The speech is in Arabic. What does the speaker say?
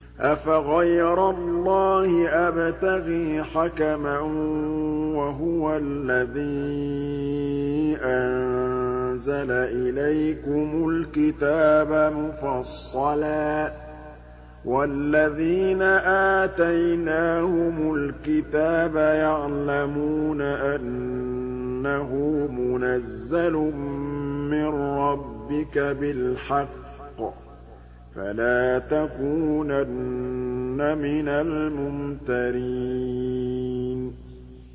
أَفَغَيْرَ اللَّهِ أَبْتَغِي حَكَمًا وَهُوَ الَّذِي أَنزَلَ إِلَيْكُمُ الْكِتَابَ مُفَصَّلًا ۚ وَالَّذِينَ آتَيْنَاهُمُ الْكِتَابَ يَعْلَمُونَ أَنَّهُ مُنَزَّلٌ مِّن رَّبِّكَ بِالْحَقِّ ۖ فَلَا تَكُونَنَّ مِنَ الْمُمْتَرِينَ